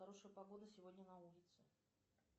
хорошая погода сегодня на улице